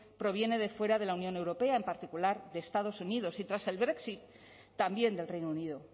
proviene de fuera de la unión europea en particular de estados unidos y tras el brexit también del reino unido